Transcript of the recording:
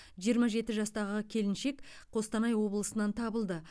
жиырма жеті жастағы келіншек қостанай облысынан табылды